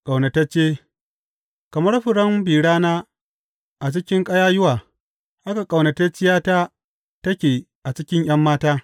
Ƙaunatacce Kamar furen bi rana a cikin ƙayayyuwa haka ƙaunatacciyata take a cikin ’yan mata.